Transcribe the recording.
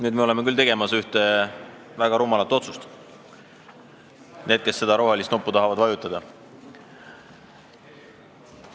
Nüüd me oleme küll tegemas ühte väga rumalat otsust või seda on tegemas need, kes rohelist nuppu tahavad vajutada.